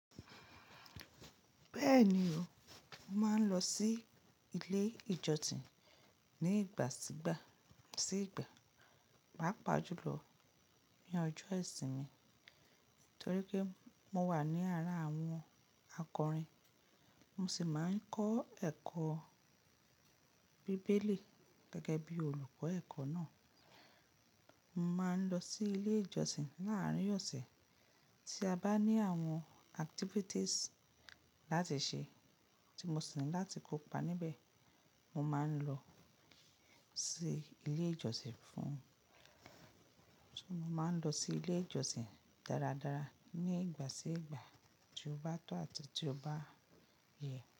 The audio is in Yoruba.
Bẹ́ẹ̀ni o, mo máa ń lọ sí ilé ìjọsìn ní ìgbà sí ìgbà. Pàjùlọ ní ọjọ́ ìsinmi torí pé mo wà ní ara àwọn akọrin. Mo sì máa ń kọ́ ẹ̀kọ́ bíbélì gẹ́gẹ́ bí olùkọ́ ẹ̀kọ́ náà. Mo máa ń lọ sí ilé ìjọsìn láàárín ọ̀sẹ̀ tí a bá ní àwọn activities láti ṣe tí mo sì ń láti kópa níbẹ̀. Mo máa ń lọ sí ilé ìjọsìn fún fun Mo máa ń lọ sí ilé ìjọsìn dáradára ní ìgbà sí ìgbà tí ó bá tọ́ àti tí ó bá yẹ.